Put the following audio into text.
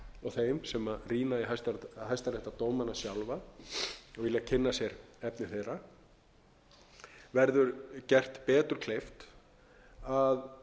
og þeim sem rýna í hæstaréttardómana sjálfa og vilja kynna sér efni þeirra verður gert betur kleift